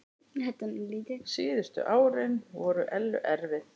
Síðustu árin voru Ellu erfið.